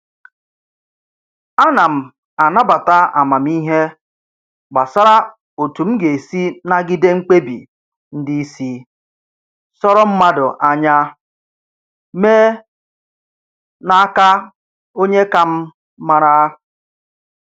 Ana m anabata amamihe gbasara otu m ga-esi nagide mkpebi ndị isi sọrọ mmadụ anya mee n'aka onye ka m mara